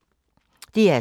DR2